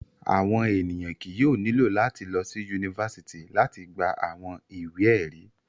Awọn eniyan kii yóò nilo lati lọsi unifásitì lati gba awọn iwe-ẹri.